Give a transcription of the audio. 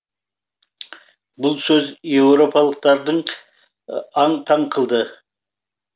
бұл сөз еуропалықтардың аң таң қылды